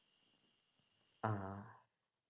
ആഹ്